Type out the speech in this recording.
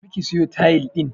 Tafi ka siyo tayil din